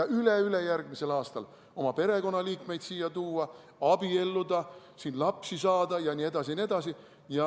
ja üleülejärgmisel aastal õigus oma perekonnaliikmeid siia tuua, abielluda, siin lapsi saada jne.